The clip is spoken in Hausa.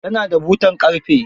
Ta na da butar ƙarfe.